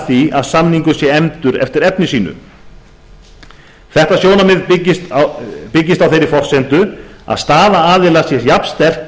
því að samningur sé efndur eftir efni sínu þetta sjónarmið byggist á þeirri forsendu að staða aðila sé jafnsterk